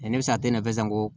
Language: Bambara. ne bɛ se a tɛ na san ko